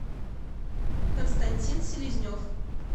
константин селезнев